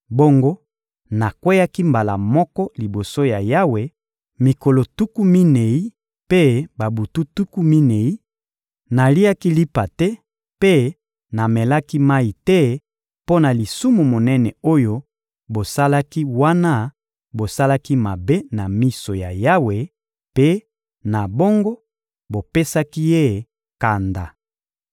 Bongo nakweyaki mbala moko liboso ya Yawe mikolo tuku minei mpe babutu tuku minei, naliaki lipa te mpe namelaki mayi te mpo na lisumu monene oyo bosalaki wana bosalaki mabe na miso ya Yawe mpe, na bongo, bopesaki Ye kanda.